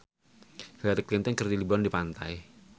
Hillary Clinton keur liburan di pantai